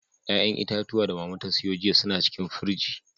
Ƴa'ƴan itatuwa da Mama ta siyo jiya su na cikin firji.